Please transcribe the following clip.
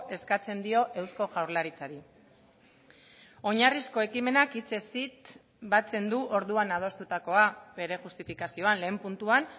eskatzen dio eusko jaurlaritzari oinarrizko ekimenak hitzez hitz batzen du orduan adostutakoa bere justifikazioan lehen puntuan